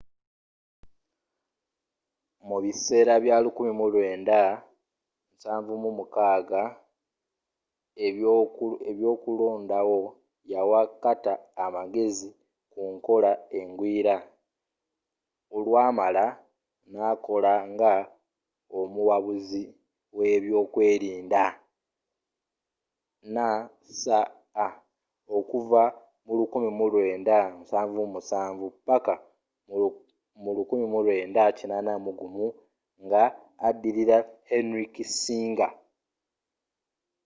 mu biseera bya 1976 ebyoku londawo yawa carter amagezi kunkola engwira olwamala nakola nga omuwabuzi webyokwerinda nsa okuva mu 1977 paka mu 1981 nga addirira henry kissinger